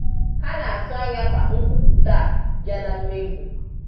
ha na-atụ anya ka nkwụpụta a bịa na mmezu.